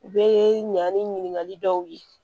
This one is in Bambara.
U bɛ ɲa ni ɲininkali dɔw ye